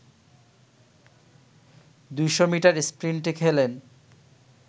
২০০ metre স্প্রিন্টে খেলেন